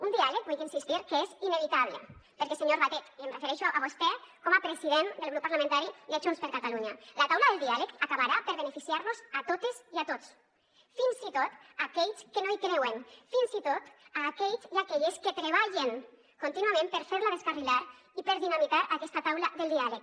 un diàleg hi vullc insistir que és inevitable perquè senyor batet i em refereixo a vostè com a president del grup parlamentari de junts per catalunya la taula del diàleg acabarà per beneficiar nos a totes i a tots fins i tot a aquells que no hi creuen fins i tot a aquells i aquelles que treballen contínuament per fer la descarrilar i per dinamitar aquesta taula del diàleg